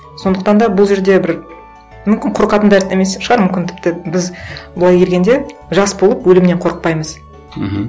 сондықтан да бұл жерде бір мүмкін қорқатын да емес шығар мүмкін тіпті біз былай келгенде жас болып өлімнен қорықпаймыз мхм